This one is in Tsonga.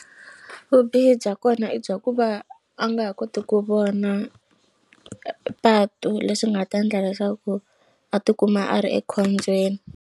Vubihi bya kona i bya ku va a nga ha koti ku vona patu leswi nga ta ndla leswaku a tikuma a ri ekhombyeni.